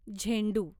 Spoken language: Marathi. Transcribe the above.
झेंडू